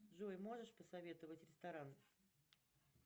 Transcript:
джой можешь посоветовать ресторан